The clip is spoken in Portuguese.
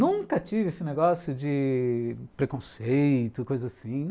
Nunca tive esse negócio de preconceito, coisa assim.